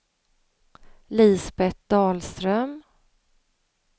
Lisbeth Dahlström